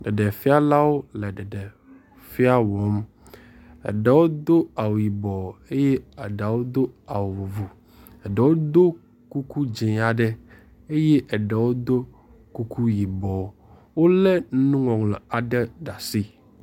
Ɖeɖefialawo le ɖeɖefia wɔm. eɖewo do awu yibɔ eye eɖewo do awu vovo. Eɖewo ɖo kuku dzi aɖe eye eɖewo do kuku yibɔ wo le nuŋɔŋlɔ aɖe ɖe asi.